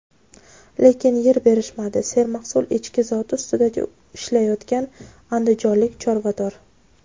lekin yer berishmadi — sermahsul echki zoti ustida ishlayotgan andijonlik chorvador.